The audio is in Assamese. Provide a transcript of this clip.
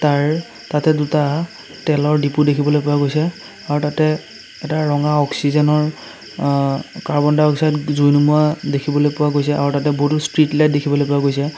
তাৰ তাতে দুটা তেলৰ ডিপু দেখিবলৈ পোৱা গৈছে আৰু তাতে এটা ৰঙা অক্সিজেনৰ আ কাৰ্বন ডাইঅক্সাইড জুই নোমুৱা দেখিবলৈ পোৱা গৈছে আৰু তাতে বহুতো ষ্ট্ৰীট লাইট দেখিবলৈ পোৱা গৈছে।